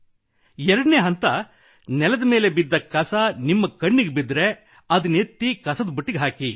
2 ನೇ ಹಂತ ನೆಲದ ಮೇಲೆ ಬಿದ್ದ ಕಸ ನಿಮ್ಮ ಕಣ್ಣಿಗೆ ಬಿದ್ದರೆ ಅದನ್ನೆತ್ತಿ ಕಸದ ಬುಟ್ಟಿಗೆ ಹಾಕಿ